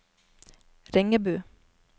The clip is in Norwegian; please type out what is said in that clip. Ringebu